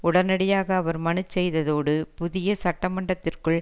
உடனடியாக அவர் மனுச் செய்ததோடு புதிய சட்டமன்றத்திற்குள்